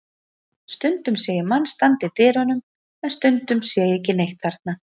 Stundum sé ég mann standa í dyrunum en stundum sé ég ekki neitt þarna.